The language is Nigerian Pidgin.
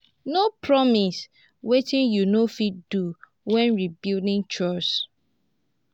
no promise wetin yu no fit do wen rebuilding trust.